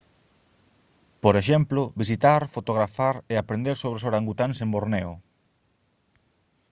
por exemplo visitar fotografar e aprender sobre os orangutáns en borneo